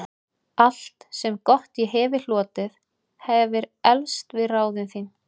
Allt, sem gott ég hefi hlotið, hefir eflst við ráðin þín.